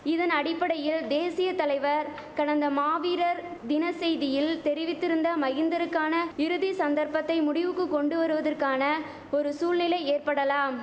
இதன் அடிப்படையில் தேசிய தலைவர் கடந்த மாவீரர் தின செய்தியில் தெரிவித்திருந்த மகிந்தருக்கான இறுதி சந்தர்ப்பத்தை முடிவுக்கு கொண்டு வருவதற்கான ஒரு சூழ்நிலை ஏற்படலாம்